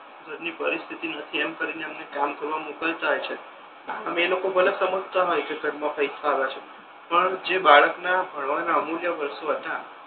ઘર ની પરિસ્થિતિ નથી એમ કરીને એમને કામ કરવા મોકલતા હોય છે આમ એલોકો ભલે સમજતા નથી કે ઘર મા પૈસા આવે છે પણ જે બાળક ના ભણવા ના અમૂલ્ય વર્ષો હતા